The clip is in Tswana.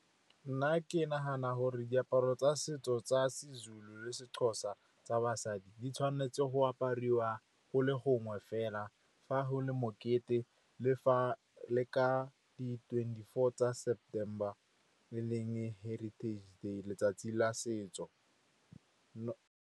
Nna ke nagana gore diaparo tsa setso tsa SeZulu le SeXhosa tsa basadi di tshwanetse go apariwa go le gongwe fela, fa go le mokete le ka di-twenty-four tsa September, e leng Heritage Day, letsatsi la setso.